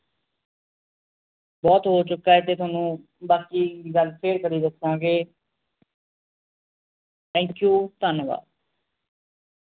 ਬਹੁਤ ਹੋ ਚੁੱਕਾ ਹੈ ਤੇ ਤੁਹਾਨੂੰ ਬਾਕੀ ਗੱਲ ਫਿਰ ਕਦੇ ਦੱਸਾਂਗੇ thank you ਧੰਨਵਾਦ